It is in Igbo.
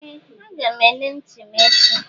Ee! Aga m ele ntị m echi.